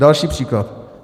Další příklad.